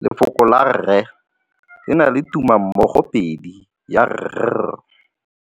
Lefoko la rre le na le tumammogôpedi ya, r.